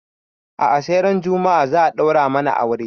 A'a sai ran juma'a za a ɗaura mana aure